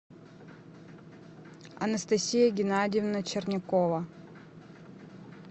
анастасия геннадьевна чернякова